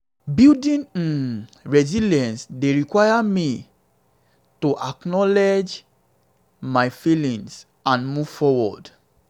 building um resilience dey require me to acknowledge me to acknowledge my um feelings and move forward. um